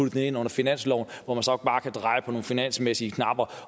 den ind under finansloven hvor man så bare kunne dreje på nogle finansmæssige knapper